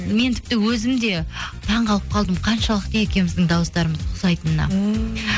мен тіпті өзім де таңқалып қалдым қаншалықты екеуіміздің дауыстарымыз ұқсайтынына ммм